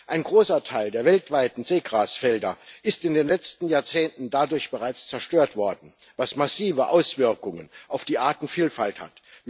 Ein großer Teil der weltweiten Seegrasfelder ist in den letzten Jahrzehnten dadurch bereits zerstört worden, was massive Auswirkungen auf die Artenvielfalt hat.